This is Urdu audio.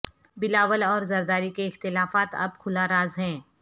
بلاول اور زرداری کے اختلافات اب کھلا راز ہیں